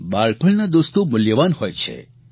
બાળપણના દોસ્તો મૂલ્યવાન હોય છે